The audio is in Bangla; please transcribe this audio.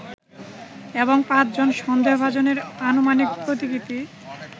এবং পাঁচজন সন্দেহভাজনের আনুমানিক প্রতিকৃতি